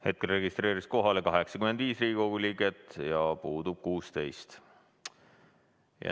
Hetkel registreerus kohalolijaks 85 Riigikogu liiget ja puudub 16.